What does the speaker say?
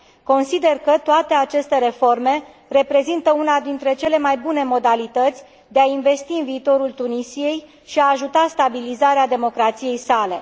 Consider că toate aceste reforme reprezintă una dintre cele mai bune modalități de a investi în viitorul Tunisiei și de a ajuta stabilizarea democrației sale.